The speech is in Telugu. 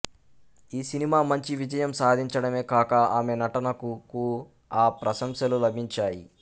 ఈ సినిమా మంచి విజయం సాధించడమే కాక ఆమె నటనకు కూఆ ప్రశంసలు లభించాయి